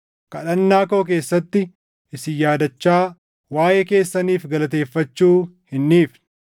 kadhannaa koo keessatti isin yaadachaa waaʼee keessaniif galateeffachuu hin dhiifne.